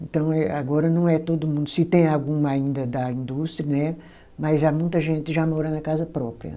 Então é agora não é todo mundo, se tem algum ainda da indústria, né, mas já muita gente já mora na casa própria.